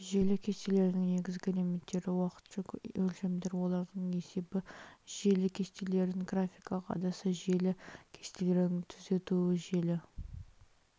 желі кестелерінің негізгі элементтері уақытша өлшемдер олардың есебі желі кестелерінің графикалық әдісі желі кестелерінің түзетуі желі